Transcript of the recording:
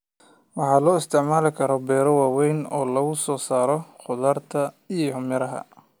Waxa loo isticmaalaa beero waaweyn oo laga soo saaro khudaarta iyo miraha.